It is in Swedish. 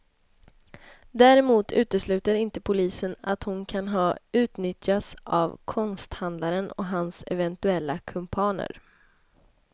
Däremot utesluter inte polisen att hon kan ha utnyttjats av konsthandlaren och hans eventuella kumpaner.